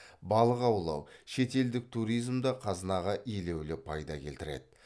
балық аулау шетелдік туризм де қазынаға елеулі пайда келтіреді